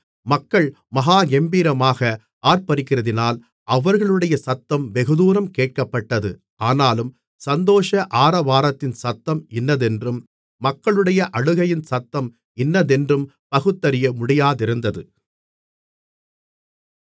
மக்கள் மகா கெம்பீரமாக ஆர்ப்பரிக்கிறதினால் அவர்களுடைய சத்தம் வெகுதூரம் கேட்கப்பட்டது ஆனாலும் சந்தோஷ ஆரவாரத்தின் சத்தம் இன்னதென்றும் மக்களுடைய அழுகையின் சத்தம் இன்னதென்றும் பகுத்தறிய முடியாதிருந்தது